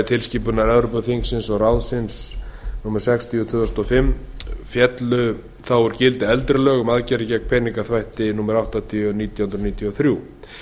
tilskipunar evrópuþingsins og ráðsins númer sextíu tvö þúsund og fimm e b féllu þá úr gildi eldri lög um aðgerðir gegn peningaþvætti númer áttatíu nítján hundruð níutíu og þrjú